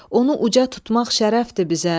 Onu uca tutmaq şərəfdir bizə.